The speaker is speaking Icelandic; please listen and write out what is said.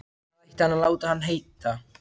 Hvað ætti hann að láta hann heita?